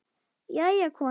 Jæja, kona.